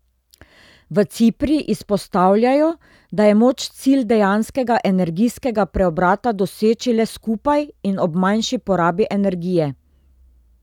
V Cipri izpostavljajo, da je moč cilj dejanskega energijskega preobrata doseči le skupaj in ob manjši porabi energije.